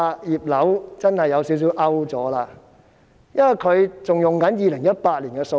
"葉劉"真是有點落伍，因為她仍然引用2018年的數字。